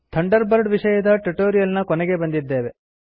Thunderbird ವಿಷಯದ tutorial ನ ಕೊನೆಗೆ ಬಂದಿದ್ದೇವೆ